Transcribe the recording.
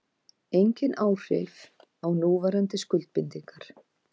Engin áhrif á núverandi skuldbindingar